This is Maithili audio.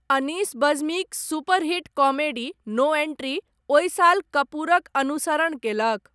अनीस बज्मीक super hit comedy, no entry, ओहि साल कपूरक अनुसरण कयलक।